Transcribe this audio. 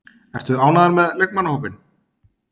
Ertu ánægður með leikmannahópinn?